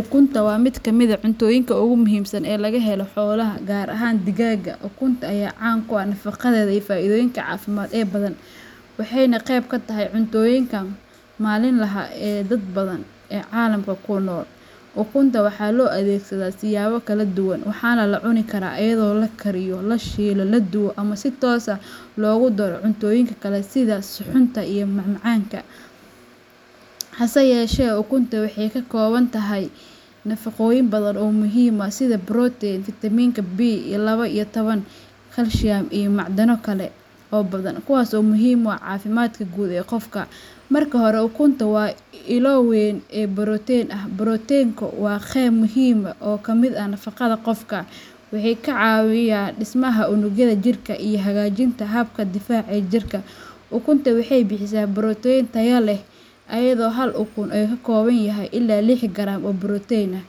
Ukunta waa mid ka mid ah cuntooyinka ugu muhiimsan ee laga helo xoolaha, gaar ahaan digaaga. Ukunta ayaa caan ku ah nafaqadeeda iyo faa'iidooyinka caafimaad ee badan, waxayna qayb ka tahay cuntooyinka maalinlaha ah ee dad badan oo caalamka ku nool. Ukunta waxaa loo adeegsadaa siyaabo kala duwan, waxaana la cuni karaa iyadoo la kariyo, la shiilo, la dubo, ama si toos ah loogu daro cuntooyin kale sida suxuunta iyo macmacaanka. Hase yeeshee, ukunta waxay ka kooban tahay nafaqooyin badan oo muhiim ah sida borotiin, fiitamiinka B laba iyo toban, kalsiyum, iyo macdano kale oo badan, kuwaas oo muhiim u ah caafimaadka guud ee qofka. Marka hore, ukunta waa ilo weyn oo borotiin ah. Borotiinku waa qayb muhiim ah oo ka mid ah nafaqada qofka, wuxuuna ka caawiyaa dhismaha unugyada jidhka iyo hagaajinta habka difaaca ee jirka. Ukunta waxay bixisaa borotiin tayo leh, iyadoo hal ukuno uu ka kooban yahay ilaa lix garaam oo borotiin ah.